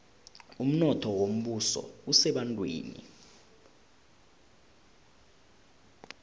umnotho wombuso usebantwini